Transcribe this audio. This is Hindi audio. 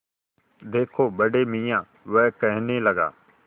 देखो बड़े मियाँ वह कहने लगा